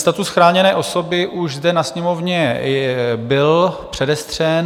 Status chráněné osoby už zde na Sněmovně byl předestřen.